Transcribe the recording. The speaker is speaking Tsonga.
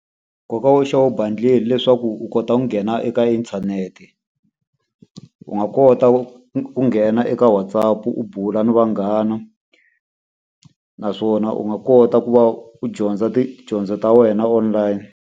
Nkoka wo xava e bundle hileswaku u kota ku nghena eka inthanete. U nga kota ku nghena eka WhatsApp u bula na vanghana, naswona u nga kota ku va u dyondza tidyondzo ta wena online.